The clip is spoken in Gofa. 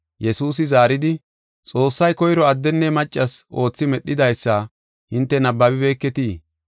Yesuusi zaaridi, “Xoossay koyro addenne maccas oothi medhidaysa hinte nabbabibeketii?